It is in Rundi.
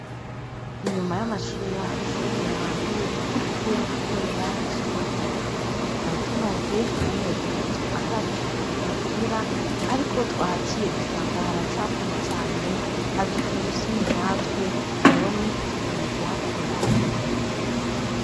Inyuma y'amashure yacu n'ahantu tugiye gukorera isuku, twari tumaze amezi atatu atasuku tuhagirira, ariko twahaciye dusanga haracafuye cane, haduteye isoni natwe, none tugiye kuhakora.